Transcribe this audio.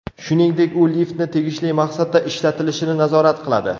Shuningdek, u liftni tegishli maqsadda ishlatilishini nazorat qiladi.